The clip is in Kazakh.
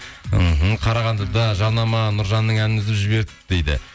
іхі қарағандыда жарнама нұржанның әннін үзіп жіберді дейді